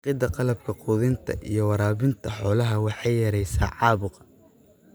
Dhaqidda qalabka quudinta iyo waraabinta xoolaha waxay yaraysaa caabuqa.